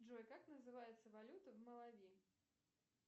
джой как называется валюта в малави